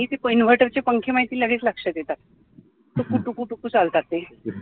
inverter चे पंखे माहितीये लगेच लक्षात येतात टुकु टुकु टुकु चालतात ते